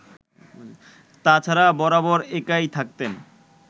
তা ছাড়া বরাবর একাই থাকতেন